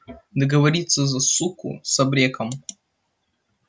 договориться за суку с абреком